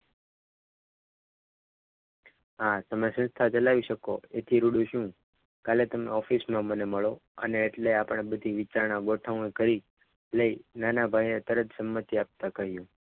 આ તમે સંસ્થા ચલાવી શકો એથી રૂડું છું કાલે તમે office માં મને મળ્યા અને એટલે બધી આપણે વિચાર ના ગોઠવણી કરી કે નાના ભાઈએ તરત જ સંમતિ આપવા કહ્યું.